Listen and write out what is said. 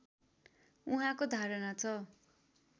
उहाँको धारणा छ